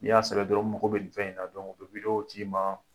Ni y'a sɛbɛn dɔrɔn n mago bɛ ni fɛn in na dɔrɔn, u bi ci ma.